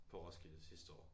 På Roskilde sidste år